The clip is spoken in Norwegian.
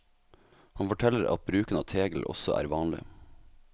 Han forteller at bruken av tegl også er vanlig.